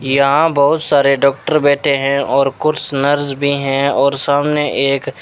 यहां बहुत सारे डॉक्टर बैठे हैं और कुछ नर्स भी हैं और सामने एक--